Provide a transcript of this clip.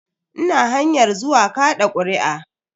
Ina hanyar zuwa kaɗa kuri'a.